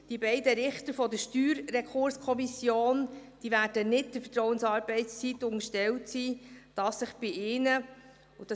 Die beiden Richter der Steuerrekurskommission werden der Vertrauensarbeitszeit nicht unterstellt sein, da es sich bei ihnen um erstinstanzliche Richter handelt.